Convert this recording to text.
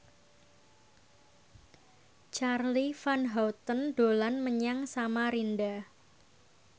Charly Van Houten dolan menyang Samarinda